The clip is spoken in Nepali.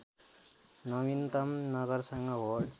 नवीनतम नगरसँग होड